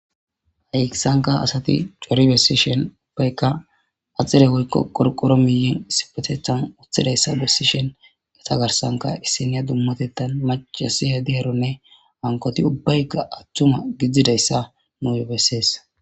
hayisanka asati curi bessishen ubbaykka axire hoykko qorqoro miyen sipetethan uthidayssa bessishen gata garsanka issiniya dummatetan macasi hedi heronne hankoti ubbaykka attuma gidzdzidayssa nu bessees